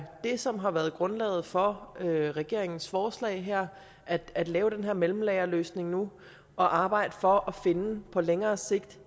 det som har været grundlaget for regeringens forslag her er at lave den her mellemlagerløsning nu og arbejde for på længere sigt